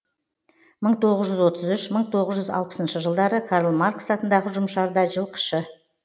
мың тоғыз жүз отыз үш мың тоғыз жүз алпысыншы жылдары карл маркс атындағы ұжымшарда жылқышы